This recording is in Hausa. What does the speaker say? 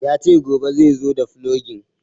Ya ce gobe zaizo da fulogin